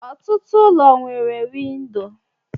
Ọtụtụ ụlọ nwere windò